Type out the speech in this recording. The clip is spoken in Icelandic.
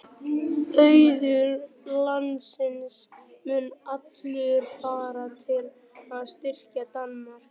Auður landsins mun allur fara til að styrkja Danmörku.